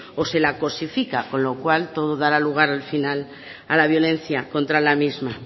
o se la cosifica con lo cual puede dar a lugar al final a la violencia contra la misma